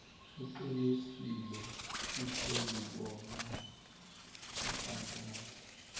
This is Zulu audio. uqinisile usweluboya kufakaza